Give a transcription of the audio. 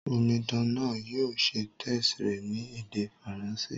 Omidan náà yio se test rẹ̀ ni èdè Faranṣé